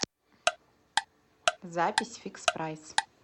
запись фикс прайс